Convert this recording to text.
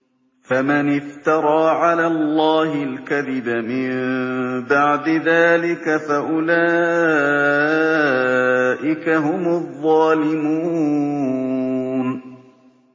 فَمَنِ افْتَرَىٰ عَلَى اللَّهِ الْكَذِبَ مِن بَعْدِ ذَٰلِكَ فَأُولَٰئِكَ هُمُ الظَّالِمُونَ